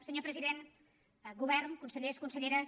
senyor president govern consellers conselleres